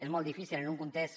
és molt difícil en un context